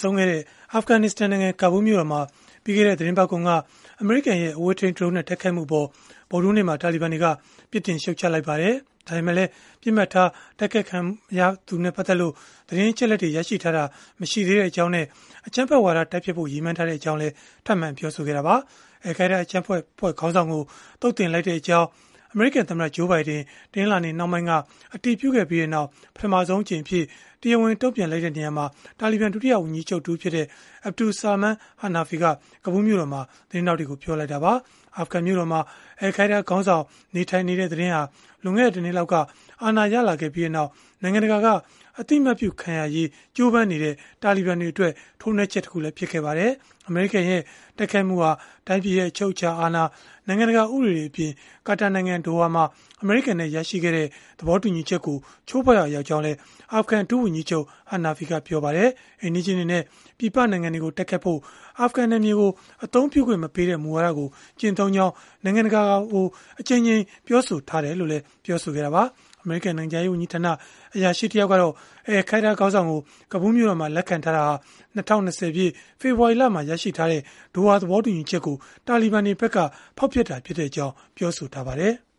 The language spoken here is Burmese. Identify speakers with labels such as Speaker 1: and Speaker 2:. Speaker 1: ဆုံးခဲ့တဲ့ အာဖဂနစ္စတန်နိုင်ငံ ကာဘူးမြို့တော်မှာ ပြီးခဲ့တဲ့ သီတင်းပတ်ကုန်က အမေရိကန်ရဲ့ အဝေးထိန်း ဒရုန်းနဲ့ တိုက်ခိုက်မှုအပေါ် ဗုဒ္ဓဟူးနေ့မှာ တာလီဘန်တွေက ပြစ်တင်ရှုတ်ချလိုက်ပါတယ်။ ဒါပေမဲ့လည်း ပစ်မှတ်ထား တိုက်ခိုက်ခံခဲ့ရသူနဲ့ ပတ်သက်လို့ သတင်းအချက်အလက် ရရှိထားတာ မရှိသေးကြောင်းနဲ့ အကြမ်းဖက်ဝါဒ တိုက်ဖျက်ဖို့ ရည်မှန်းထားကြောင်း ထပ်မံပြောဆိုလိုက်ပါတယ်။ အယ်လ်ခိုင်းဒါး အကြမ်းဖက်အဖွဲ့ခေါင်းဆောင်ကို သုတ်သင်လိုက်ကြောင်း အမေရိကန်သမ္မတ Joe Biden တနင်္လာနေ့နှောင်းပိုင်းက အတည်ပြုခဲ့ပြီးနောက်၊ ပထမဆုံးအကြိမ်အဖြစ် တရားဝင်တုံ့ပြန်ချက်အဖြစ် တာလီဘန် ဒုတိယဝန်ကြီးချုပ် တဦးဖြစ်တဲ့ Abdul Salam Hanafi က ကာဘူးမြို့တော်မှာ သတင်းထောက်တွေကို ပြောလိုက်တာပါ။ အာဖဂန်မြို့တော်မှာ အယ်လ်ခိုင်းဒါးခေါင်းဆောင် နေထိုင်နေတဲ့ သတင်းဟာ လွန်ခဲ့တဲ့ ၁ နှစ်လောက်က အာဏာရလာပြီးနောက် နိုင်ငံတကာ အသိအမှတ်ပြုခံရရေး ကြိုးပမ်းနေတဲ့ တာလီဘန်တွေအတွက် ထိုးနှက်ချက်တခု ဖြစ်ခဲ့ပါတယ်။ အမေရိကန်ရဲ့ တိုက်ခိုက်မှုဟာ တိုင်းပြည်အချုပ်အခြာအာဏာ၊ နိုင်ငံတကာ ဥပဒေတွေအပြင် ကာတာနိုင်ငံ ဒိုဟာမှာ အမေရိကန်နဲ့ ရရှိခဲ့တဲ့ သဘောတူညီချက်ကို ချိုးဖောက်ရာ ရောက်ကြောင်းလည်း အာဖဂန်ဒုဝန်ကြီးချုပ် Hanafi ကပြောပါတယ်။ အိမ်နီးချင်းတွေနဲ့ ပြည်ပနိုင်ငံတွေကို တိုက်ခိုက်ဖို့ အာဖဂန်နယ်မြေကို အသုံးပြုခွင့်မပေးတဲ့ မူဝါဒကို ကျင့်သုံးကြောင်း နိုင်ငံတကာကို အကြိမ်ကြိမ် ပြောဆိုထားတယ်လို့လည်း ပြောခဲ့တာပါ။ အမေရိကန် နိုင်ငံခြားရေးဝန်ကြီးဌာန အရာရှိတယောက်ကတော့ အယ်လ်ခိုင်းဒါး ခေါင်းဆောင်ကို ကာဘူးလ်မြို့တော်မှာ လက်ခံထားတာဟာ ၂၀၂၀ ပြည့်၊ ဖေဖော်ဝါရီလက ရရှိထားတဲ့ ဒိုဟာသဘောတူညီချက်ကို တာလီဘန်တွေဖက်က ဖောက်ဖျက်တာဖြစ်ကြောင်း ပြောဆိုထားပါတယ်။